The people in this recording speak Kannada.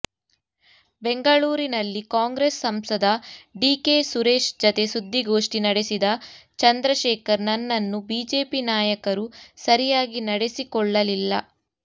ಬೆಂಗಳೂರಿನಲ್ಲಿ ಕಾಂಗ್ರೆಸ್ ಸಂಸದ ಡಿಕೆ ಸುರೇಶ್ ಜತೆ ಸುದ್ದಿಗೋಷ್ಠಿ ನಡೆಸಿದ ಚಂದ್ರಶೇಖರ್ ನನ್ನನ್ನು ಬಿಜೆಪಿ ನಾಯಕರು ಸರಿಯಾಗಿ ನಡೆಸಿಕೊಳ್ಳಲಿಲ್ಲ